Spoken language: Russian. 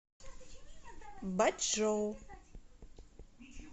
бачжоу